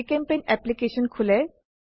জিচেম্পেইণ্ট application খোলে